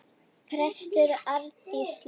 Prestur Arndís Linn.